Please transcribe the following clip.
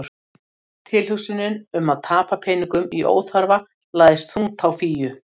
Tilhugsunin um að tapa peningum í óþarfa lagðist þungt á Fíu.